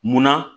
Munna